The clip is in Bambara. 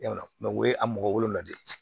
Yala u ye a mɔgɔ wolonvila de